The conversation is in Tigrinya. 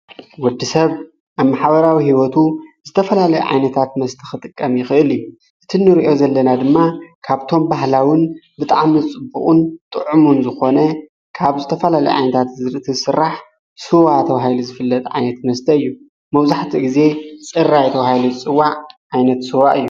ወዲ ሰብ ኣብ ሓበራዊ ሕይወቱ ዝተፈላለይ ዓይነታት መስተ ኽጥቀም ይኽእል ዩ ዝቲ ንርእዮ ዘለና ድማ ካብቶም ባህላውን ብጣዕሚ ዝጽቡቕን ጥዑሙን ዝኾነ ካብ ዝተፈላለይ ዓይነንታት ምህርቲ ሥራሕ ሥዋ ተብሂሉ ዝፍለጥ ዓይነት መስደይዩ መውዙሕቲ ጊዜ ጽራይ ተባሂሉ ዝጽዋዕ ኣይነት ሥዋ እዩ::